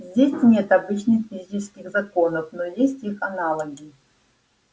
здесь нет обычных физических законов но есть их аналоги